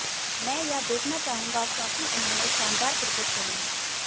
मैं यह देखना चाहूंगा क्योंकि उन्होंने शानदार क्रिकेट खेली है